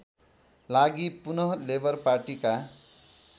लागि पुनः लेबर पार्टीका